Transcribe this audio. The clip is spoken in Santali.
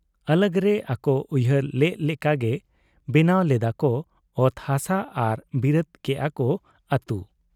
ᱟᱞᱟᱜᱽ ᱨᱮ ᱟᱠᱚ ᱩᱭᱦᱟᱹᱨ ᱞᱮᱜ ᱞᱮᱠᱟ ᱜᱮ ᱵᱮᱱᱟᱣ ᱞᱮᱫᱟ ᱠᱚ ᱚᱛ ᱦᱟᱥᱟ ᱟᱨ ᱵᱮᱨᱮᱫ ᱠᱮᱜ ᱟ ᱠᱚ ᱟᱹᱛᱩ ᱾